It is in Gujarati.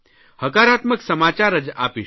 હકારાત્મક સમાચાર જ આપીશું